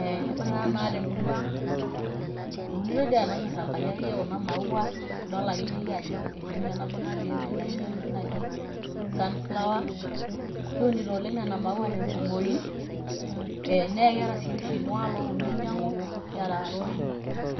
Ee ore naa tenakata te murua ang' eunitoi dii enanyor enkai akeyie kuna maua idol akeyeyie ajo etii nye nabo natii ende naijo enoshi naji sunflower. Kiunito nena maua oleng' te nkumoi ee naake eeta sii oshi iltung'anak looponu ainyang'u, kiata rorin